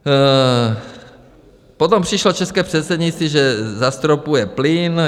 Potom přišlo české předsednictví, že zastropuje plyn.